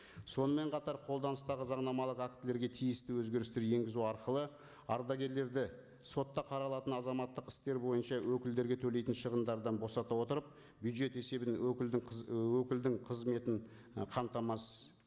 сонымен қатар қолданыстағы заңнамалық актілерге тиісті өзгерістер енгізу арқылы ардагерлерді сотта қаралатын азаматтық істер бойынша өкілдерге төлейтін шығындардан босата отырып бюджет есебінен өкілдің өкілдің қызметін і қамтамасыз